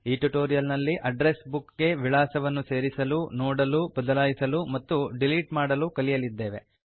ಈ ಟ್ಯುಟೋರಿಯಲ್ ನಲ್ಲಿ address book ಗೆ ವಿಳಾಸಗಳನ್ನು ಸೇರಿಸಲು ನೋಡಲು ಬದಲಾಯಿಸಲು ಮತ್ತು ಡಿಲೀಟ್ ಮಾಡಲು ಕಲಿಯಲಿದ್ದೇವೆ